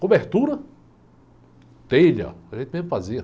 Cobertura, telha, a gente mesmo fazia.